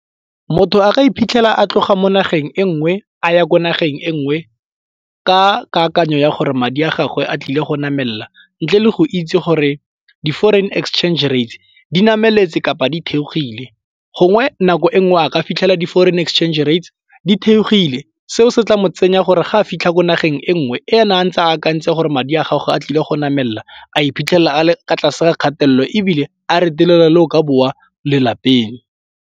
Motho a ka iphitlhela a tloga mo nageng e nngwe a ya ko nageng e nngwe ka kakanyo ya gore madi a gagwe a tlile go namelela ntle le go itse gore di-foreign exchange rate di nameletse kapa di theohile gongwe nako e nngwe a ka fitlhela di-foreign e exchange rate di kgethegile. Seo se tla mo tsenya gore ga a fitlha ko nageng e nngwe e ene a ntse a akantse gore madi a gage a tlile go namelela a iphitlhela a le kwa tlase ga kgatelelo ebile a retelelwa le ho ka boa lelapeng.